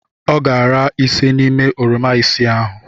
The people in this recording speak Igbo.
Ọ ga-ara ise n'ime oroma isii ahụ.